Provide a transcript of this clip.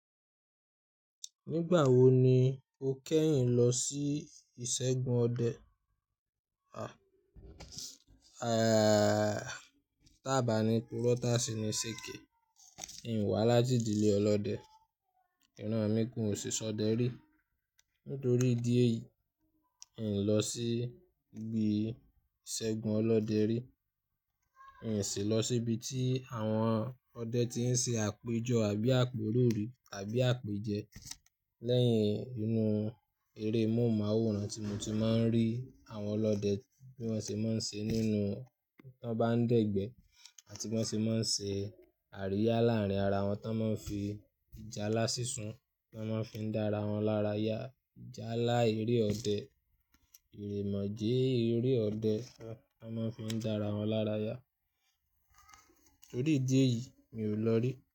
Nígbà wo ni o kẹ́yìn lọ sí ìṣẹ́gun ọdẹ? Tàba ní purọ tásí ni ṣèké, in wá láti ìdílé ọlọ́dẹ. Iran mi kan òṣìṣọdẹ rí. Nítorí ìdí èyí, n lọ sí ibi ìṣẹ́gun ọlọ́dẹ rí. N sì lọ síbi tí àwọn ọdẹ ti ń ṣe àpéjọ àbí àpérò rí tàbí àpèjẹ. Lẹ́yìn inú eré móhùnmáwòrán tí mo ti má ń rí àwọn ọlọ́dẹ bí wọ́n ṣe má ń ṣe nínú, tí wọ́n bá ń dẹ̀gbẹ́ àti bí wọ́n ṣe má ń ṣe àríyá láàárín ara wọn. Tí wọ́n má ń fi ìjálá sísun, tí wọ́n má ń fi dá ara wọn lára ya. Ìjálá eré ọdẹ, èrè mọ̀jé eré ọdẹ tí wọ́n má ń fi dá ara wọn lára ya. Torí ìdí èyí, mi ò lọ rí.